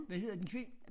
Hvad hedder den